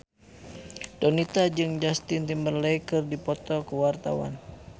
Donita jeung Justin Timberlake keur dipoto ku wartawan